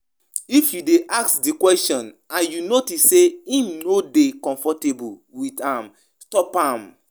No ask di question like um say you won argue um with dem